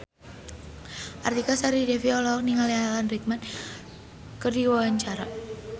Artika Sari Devi olohok ningali Alan Rickman keur diwawancara